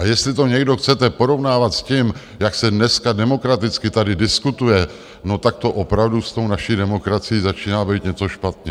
A jestli to někdo chcete porovnávat s tím, jak se dneska demokraticky tady diskutuje, no tak to opravdu s tou naší demokracií začíná být něco špatně.